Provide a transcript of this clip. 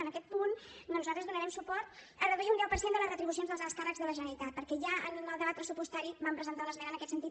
en aquest punt doncs nosaltres donarem suport a reduir un deu per cent de les retribucions dels alts càrrecs de la generalitat perquè ja en el debat pressupostari vam presentar una esmena en aquest sentit